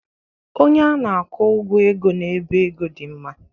Onye na-akwụ ụgwọ ego n'ebe ego dị mma